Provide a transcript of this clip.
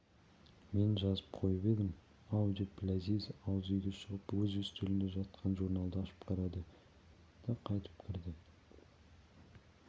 мен жазып қойып едім-ау деп ләзиз ауыз үйге шығып өз үстелінде жатқан журналды ашып қарады да қайта кірді